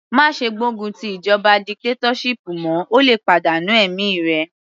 Má ṣe gbógun ti ìjọba dictatorship mọ́, o lè pàdánù ẹ̀mí rẹ.